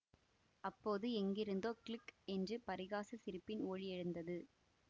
அப்போது எங்கிருந்தோ க்ளுக் என்று பரிகாசச் சிரிப்பின் ஒலி எழுந்தது